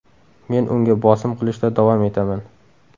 Men unga bosim qilishda davom etaman.